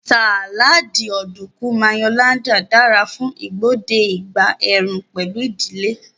Sáláádì Ọ̀dùnkún Mayo-laden dara fún igbode ìgbà ẹ̀ẹ̀rùn pẹ̀lú ìdílé